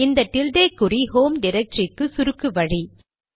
இந்த டில்டே குறி ஹோம் டிரக்டரிக்கு சுருக்கு வழி